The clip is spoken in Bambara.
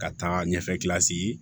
Ka taa ɲɛfɛ